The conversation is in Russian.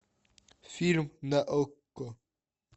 фильм на окко